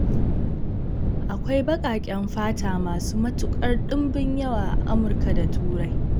Akwai baƙaƙen fata masu matukar dimbin yawa a Amurka da Turai.